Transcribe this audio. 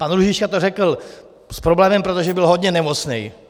Pan Růžička to řekl s problémem, protože byl hodně nemocný.